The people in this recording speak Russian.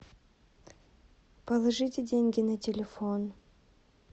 положите деньги на телефон